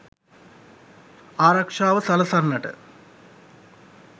ආරක්‍ෂාව සලසන්නට